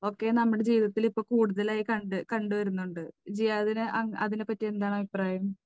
ഒക്കെ നമ്മുടെ ജീവിതത്തിൽ ഇപ്പോൾ കൂടുതലായി കണ്ട്, കണ്ടുവരുന്നുണ്ട്. ജിയാദിന് അതിനെ പറ്റി എന്താണ് അഭിപ്രായം?